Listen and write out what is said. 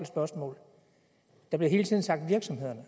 spørgsmål der bliver hele tiden sagt virksomhederne